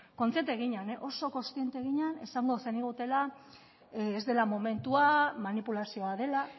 kontziente ginen oso kontziente ginen esango zenigutela ez dela momentua manipulazioa dela